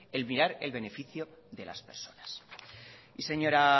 el mirar el beneficio de las personas y señora